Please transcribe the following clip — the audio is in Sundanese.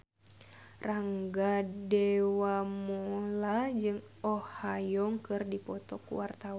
Rangga Dewamoela jeung Oh Ha Young keur dipoto ku wartawan